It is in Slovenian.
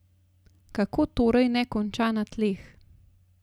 Kako torej ne konča na tleh?